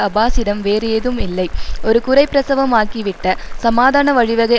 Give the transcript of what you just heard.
அப்பாஸிடம் வேறு ஏதும் இல்லை ஒரு குறைப்பிரசவமாகிவிட்ட சமாதான வழிவகை